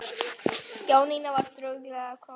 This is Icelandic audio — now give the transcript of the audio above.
Jónína var dugleg kona.